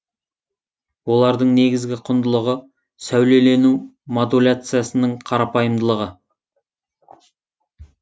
олардың негізгі құндылығы сәулелену модуляциясының қарапайымдылығы